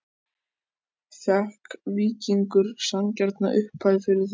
Fékk Víkingur sanngjarna upphæð fyrir þá?